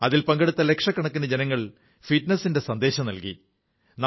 അതിൽ പങ്കെടുത്ത ലക്ഷക്കണക്കിന് ജനങ്ങൾ ഫിറ്റ്നസിന്റെ സന്ദേശം നല്കി